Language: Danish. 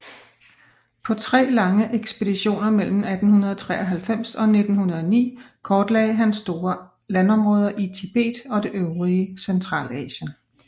På tre lange ekspeditioner mellem 1893 og 1909 kortlagde han store landområder i Tibet og det øvrige Centralasien